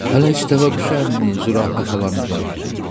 Hələ işdə və quşu əmini, Zürafə xalanı demirəm.